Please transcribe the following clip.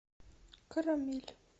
карамель